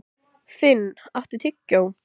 Finn, áttu tyggjó?